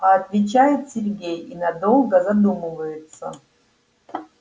а отвечает сергей и надолго задумывается